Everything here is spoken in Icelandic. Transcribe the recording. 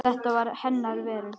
Þetta var hennar veröld.